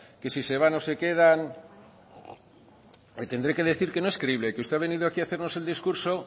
qué si se van o se quedan le tendré que decirle que no es creíble que usted ha venido aquí a hacernos el discurso